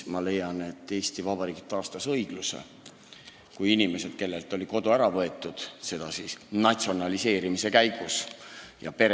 Ma leian, et Eesti Vabariik taastas õigluse, kui mõtles inimestele, kellelt oli kodu natsionaliseerimise käigus ära võetud.